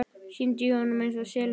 Syndi í honum einsog selur.